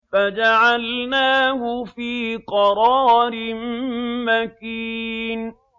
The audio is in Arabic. فَجَعَلْنَاهُ فِي قَرَارٍ مَّكِينٍ